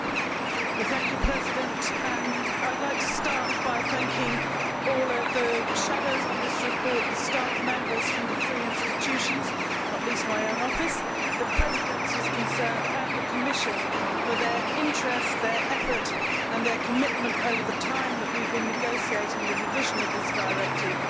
Madam President, I would like to start by thanking all the shadows on this report, the staff members from the three institutions not least my own office the Presidencies concerned and the Commission for their interest, effort and commitment over the time we have been negotiating the revision of this directive.